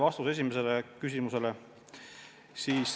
Vastus esimesele küsimusele on selline.